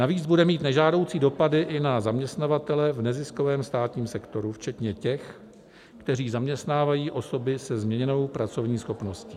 Navíc bude mít nežádoucí dopady i na zaměstnavatele v neziskovém státním sektoru včetně těch, kteří zaměstnávají osoby se změněnou pracovní schopností.